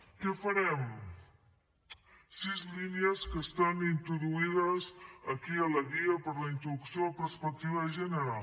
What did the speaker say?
què farem sis línies que estan introduïdes aquí a la guia per la introducció de la perspectiva de gènere